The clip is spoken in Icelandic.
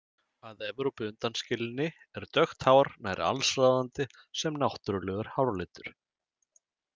Að Evrópu undanskilinni er dökkt hár nær alsráðandi sem náttúrulegur háralitur.